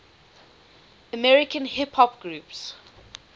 american hip hop groups